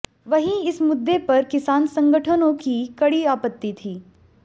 वहीं इस मुद्दे पर किसान संगठनों की कड़ी आपत्ति थी